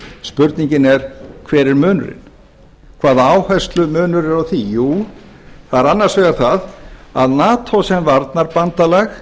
spurningin er hver er munurinn hvaða áherslumunur er á því jú það er annars vegar það að nato sem varnarbandalag